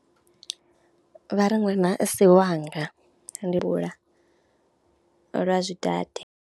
Vha ri ṅwana a si wanga, ndi lwa zwidade.